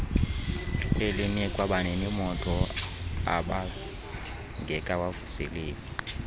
elinikwa baninimoto ababngekawavuseleli